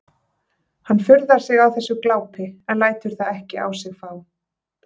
Hann furðar sig á þessu glápi en lætur það ekki á sig fá.